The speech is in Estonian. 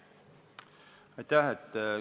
Aitäh!